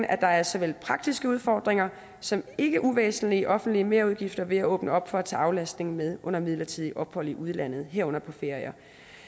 at der er såvel praktiske udfordringer som ikke uvæsentlige offentlige merudgifter ved at åbne op for at tage aflastningen med under midlertidige ophold i udlandet herunder på ferier